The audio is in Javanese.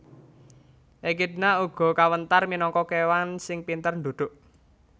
Ekidna uga kawentar minangka kéwang sing pinter ndhudhuk